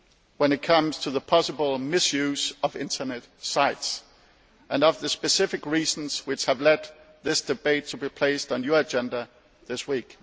when it comes to the possible misuse of Internet sites and of the specific reasons which have led this debate to be placed on your agenda this week.